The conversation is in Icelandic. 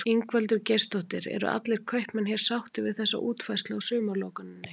Ingveldur Geirsdóttir: Eru allir kaupmenn hér sáttir við þessa útfærslu á sumarlokuninni?